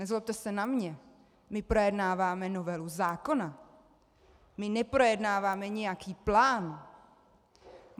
Nezlobte se na mě, my projednáváme novelu zákona, my neprojednáváme nějaký plán.